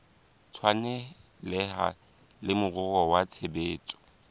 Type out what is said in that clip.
tshwaneleha le moruo wa tshebetso